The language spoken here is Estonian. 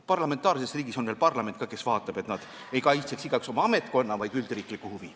Parlamentaarses riigis on veel parlament ka, kes vaatab, et igaüks ei kaitseks oma ametkonna, vaid üldriiklikku huvi.